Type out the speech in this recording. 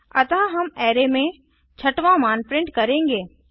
अतः हम अराय में छठवां मान प्रिंट करेंगे